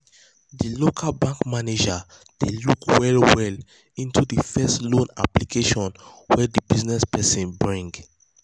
de local bank manager dey look well well into de first loan application wey de business person bring.